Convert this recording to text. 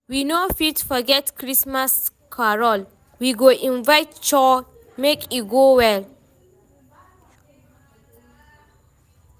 We no fit forget Christmas carol, we go invite choir make e go well.